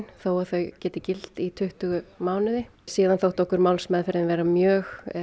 þó þau geti gilt í tuttugu mánuði síðan þótti okkur málsmeðferðin vera mjög